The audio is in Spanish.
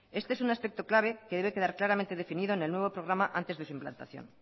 este es un aspecto clave que debe quedar claramente definido en el nuevo programa antes de su implantación